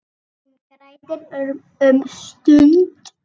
Hún grætur um stund.